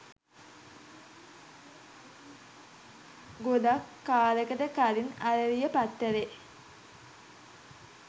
ගොඩක් කාලෙකට කලින් "අරලිය" පත්තරේ